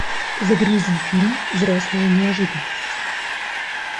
загрузи фильм взрослая неожиданность